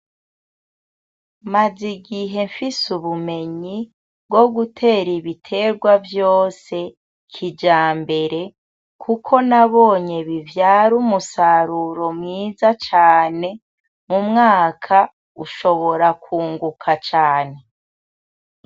Maze igihe nfise ubumenyi bwo gutera ibiterwa vyose kijambere kuko nabonye bivyara umusaruro mwiza cane mu mwaka ushobora kwunguka cane.